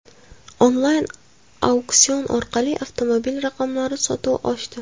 Onlayn auksion orqali avtomobil raqamlari sotuvi oshdi.